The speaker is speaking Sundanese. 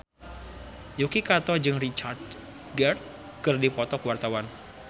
Yuki Kato jeung Richard Gere keur dipoto ku wartawan